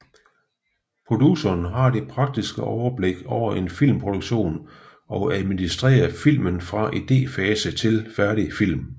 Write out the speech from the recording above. Produceren har det praktiske overblik over en filmproduktion og administrerer filmen fra idéfase til færdig film